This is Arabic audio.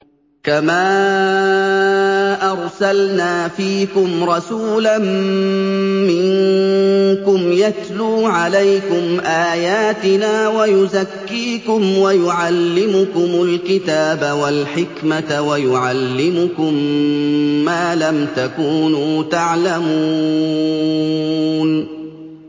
كَمَا أَرْسَلْنَا فِيكُمْ رَسُولًا مِّنكُمْ يَتْلُو عَلَيْكُمْ آيَاتِنَا وَيُزَكِّيكُمْ وَيُعَلِّمُكُمُ الْكِتَابَ وَالْحِكْمَةَ وَيُعَلِّمُكُم مَّا لَمْ تَكُونُوا تَعْلَمُونَ